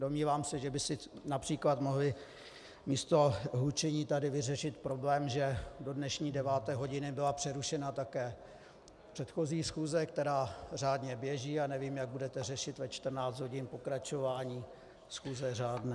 Domnívám se, že by si například mohli místo hlučení tady vyřešit problém, že do dnešní deváté hodiny byla přerušena také předchozí schůze, která řádně běží, a nevím, jak budete řešit ve 14 hodin pokračování schůze řádné.